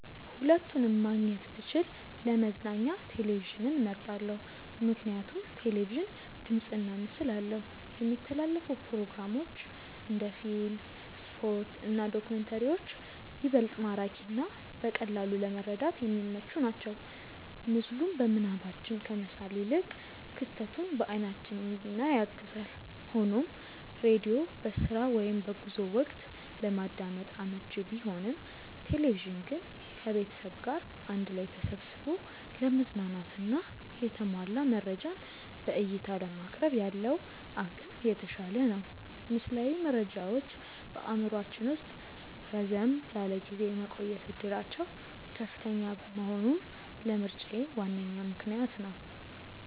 ሁለቱንም ማግኘት ብችል ለመዝናኛ ቴሌቪዥንን መርጣለው። ምክንያቱም ቴሌቪዥን ድምፅና ምስል አለው፣ የሚተላለፉ ፕሮግራሞች (እንደ ፊልም፣ ስፖርት እና ዶክመንተሪዎች) ይበልጥ ማራኪና በቀላሉ ለመረዳት የሚመቹ ናቸው። ምስሉን በምናባችን ከመሳል ይልቅ ክስተቱን በአይናችን እንድናይ ያግዛል። ሆኖም ሬዲዮ በስራ ወይም በጉዞ ወቅት ለማዳመጥ አመቺ ቢሆንም፣ ቴሌቪዥን ግን ከቤተሰብ ጋር አንድ ላይ ተሰብስቦ ለመዝናናትና የተሟላ መረጃን በዕይታ ለማቅረብ ያለው አቅም የተሻለ ነው። ምስላዊ መረጃዎች በአእምሯችን ውስጥ ረዘም ላለ ጊዜ የመቆየት ዕድላቸው ከፍተኛ መሆኑም ለምርጫዬ ዋነኛ ምክንያት ነው።